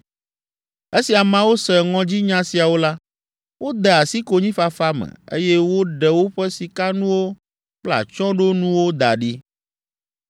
Esi ameawo se ŋɔdzinya siawo la, wode asi konyifafa me, eye woɖe woƒe sikanuwo kple atsyɔ̃ɖonuwo da ɖi.